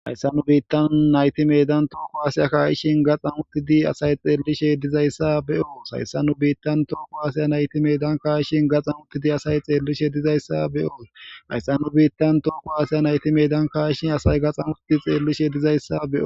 Hayssa nu biittan nayti medan tooko haasiya kaa'ishin gaxan uttidi asay xeellishe dizayssa be'oos hayssa nu biittan tooko haasaya naytimedan kaa'ishin gaxan uttidi asay xeellishe dizayssa be'oos hayssa nu biittan tooko haasaya naytimedan kaa ishin asay gaxxan utidi xeellishe dizayssa be'os.